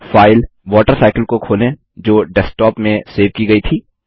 file water cycle को खोलें जो डेस्क्टॉप में सेव की गई थी